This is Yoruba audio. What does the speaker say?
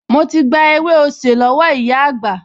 Mo ti gba ewé osè lọ́wọ́ ìyá àgbà